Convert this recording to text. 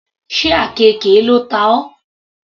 Sé àkekè ló ta ọ.